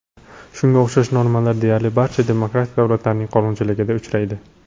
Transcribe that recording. Shunga o‘xshash normalar deyarli barcha demokratik davlatlarning qonunchiligida uchraydi.